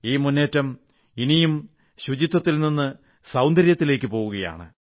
ഈ മുന്നേറ്റം ഇനി ശുചിത്വത്തിൽ നിന്ന് സൌന്ദര്യത്തിലേക്ക് പോകുകയാണ്